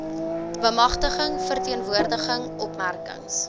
bemagtiging verteenwoordiging opmerkings